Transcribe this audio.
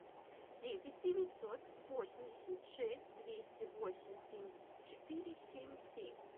девять девятьсот восемьдесят шесть двести восемь семьдесят четыре семь семь